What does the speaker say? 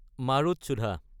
মাৰোতচোধা